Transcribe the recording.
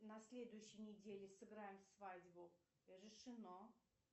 на следующей неделе сыграем свадьбу решено